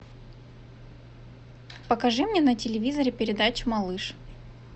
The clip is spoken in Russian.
покажи мне на телевизоре передачу малыш